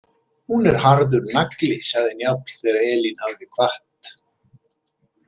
Hún er harður nagli, sagði Njáll þegar Elín hafði kvatt.